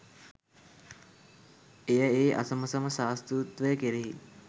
එය ඒ අසමසම ශාස්තෘත්වය කෙරෙහි